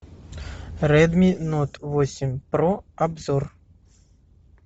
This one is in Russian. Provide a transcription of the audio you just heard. редми нот восемь про обзор